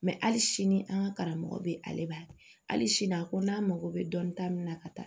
hali sini an ka karamɔgɔ bɛ ale b'a kɛ hali sini a ko n'an mago bɛ dɔni ta min na ka taa